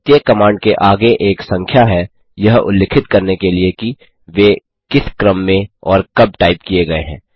प्रत्येक कमांड के आगे एक संख्या है यह उल्लिखित करने के लिए कि वे किस क्रम में और कब टाइप किये गये हैं